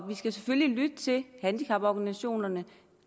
vi skal selvfølgelig lytte til handicaporganisationerne